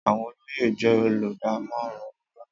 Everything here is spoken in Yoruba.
Àwọn olóyè jé olùdámọ̀ràn ọba